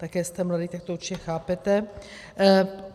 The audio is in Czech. Také jste mladý, tak to určitě chápete.